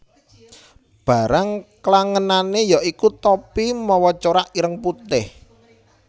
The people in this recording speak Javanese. Barang klangenané yaiku topi mawa corak ireng putih